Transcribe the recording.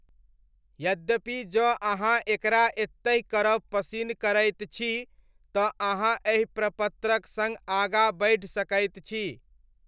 यद्यपि जँ अहाँ एकरा एतहि करब पसिन्न करैत छी तँ अहाँ एहि प्रपत्रक सङ्ग आगाँ बढ़ि सकैत छी।